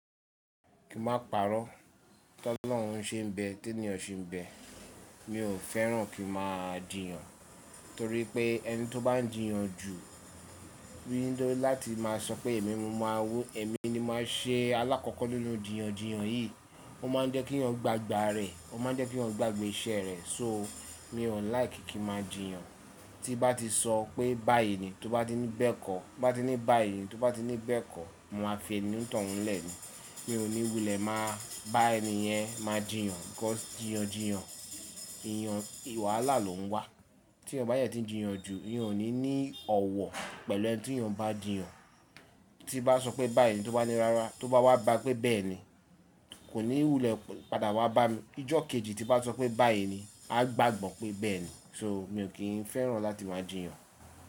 Kí máa pàrọ̀, tó olórun ṣe ń bẹ, té niyan se ń bẹ. Mi ò fẹ́ràn kí màá jìyàn, torí pé ẹni tó bá ń jìyàn jù, rí n dọ́ láti má a sọ pé èmi ni mo má a we, èmi ni màá ṣe alákọ̀ọ́kọ́ nínú jìyàn jìyàn yìí. Ó ma ń jẹ́ kí yàn gbà gbà rẹ̀, ó ma ń jẹ́ kí èèyàn gbà gbé iṣẹ́ rẹ̀. So mi ò like kí màá jìyàn. Tí bá ti sọ pé báyìí ni, tó bá ti ní bẹ́ẹ̀ kọ́, tó bá ti ní báyìí ni, tó bá ti ní bẹ́ẹ̀ kọ́, mo máa fi ẹni ní tọ̀ ọ́n lè ni. Mi ò ní wulẹ̀ máa bá ẹni yẹn máa jìyàn. Because jìyàn jìyàn, èèyàn wàhàlá ló ń wá. Tí èèyàn bá jẹ ti ń jìyàn jù, èèyàn ò ní ní ọ̀wọ̀ pẹ̀lú ẹni tí èèyàn bá jìyàn. Tí bá sọ pé báyìí ni, tó bá ní rárá, tó bá wá bá pé bẹ́ẹ̀ ni, kò ní wulẹ̀ padà wá bá mi. Ijọ́ kejì tí bá sọ pé báyìí ni, a gbàgbọ́ pé bẹ́ẹ̀ ni. So mi ò kín fẹ́ràn láti máa jìyàn.